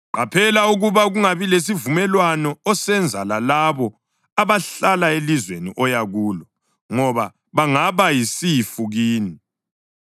Qaphela ukuba kungabi lesivumelwano osenza lalabo abahlala elizweni oya kulo ngoba bangaba yisifu kini.